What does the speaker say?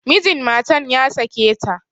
Mijin matan ya sake ta.